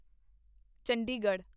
Chandigarh